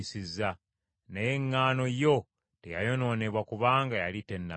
Naye eŋŋaano n’omukyere, byo tebyayonoonebwa kubanga byali tebinnayengera.)